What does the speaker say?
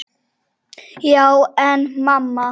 Já en amma.